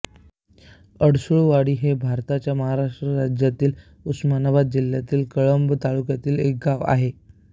अडसूळवाडी हे भारताच्या महाराष्ट्र राज्यातील उस्मानाबाद जिल्ह्यातील कळंब तालुक्यातील एक गाव आहे